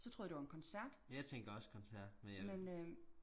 så troede jeg det var en koncert men øhm